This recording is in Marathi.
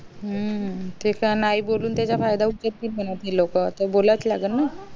हम्म तिथं नाही बोलून त्याचा फायदा उचलतील म्हणावं ते लोक आता बोलायचं लागण ना